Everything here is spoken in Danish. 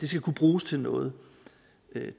skal kunne bruges til noget